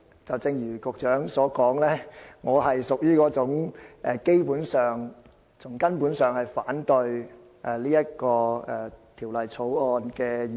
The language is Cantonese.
正如局長所說，我是那種從根本上反對《2017年稅務條例草案》的議員。